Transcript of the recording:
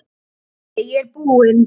Pabbi ég er búinn!